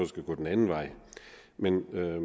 skal gå den anden vej men